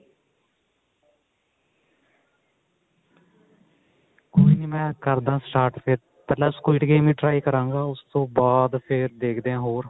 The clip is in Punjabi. ਕੋਈ ਨੀ ਮੈਂ ਕਰਦਾ start ਪਹਿਲਾਂ squad game ਹੀ try ਕਰਾਂਗਾ ਉਸ ਤੋਂ ਬਾਅਦ ਫ਼ੇਰ ਦੇਖਦੇ ਆਂ ਹੋਰ